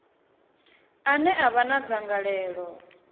ane a vha na dzangalelo